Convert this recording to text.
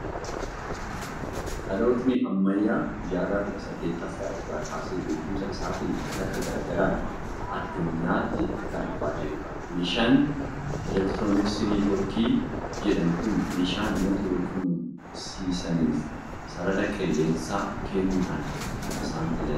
Dhalootni ammayyaa jaarraa kudha saddettaffaa irraa kaasee beekumsa isaatiin kalaqa garaa garaan addunyaatti kan dhufaa jirudha. Meeshaan elektirooniksii neetiwoorkii jedhamu kun meeshaa namoota wal qunnamsiisaniif sarara qilleensaa kennuudhaan kan isaan tajaajiludha.